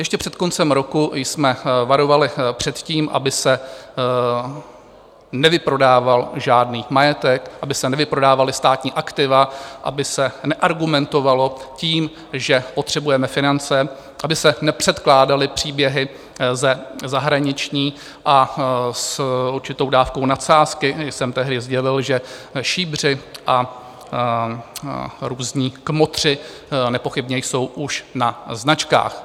Ještě před koncem roku jsme varovali před tím, aby se nevyprodával žádný majetek, aby se nevyprodávala státní aktiva, aby se neargumentovalo tím, že potřebujeme finance, aby se nepředkládaly příběhy ze zahraničí, a s určitou dávkou nadsázky jsem tehdy sdělil, že šíbři a různí kmotři nepochybně jsou už na značkách.